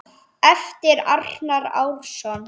eftir Arnar Árnason